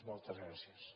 moltes gràcies